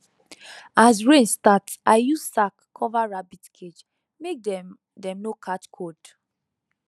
as rain start i use sack cover rabbit cage make dem dem no catch cold